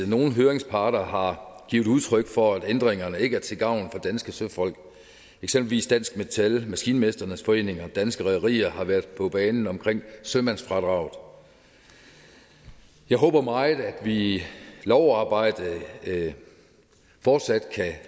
nogle høringsparter har givet udtryk for at ændringerne ikke er til gavn for danske søfolk eksempelvis dansk metal maskinmestrenes forening og danske rederier har været på banen omkring sømandsfradraget jeg håber meget at vi i lovarbejdet fortsat kan